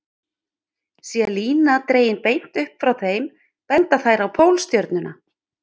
Sé lína dregin beint upp frá þeim, benda þær á Pólstjörnuna.